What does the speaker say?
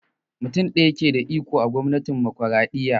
Mutum ɗaya ke da iko a gwamnatin autokraɗiyya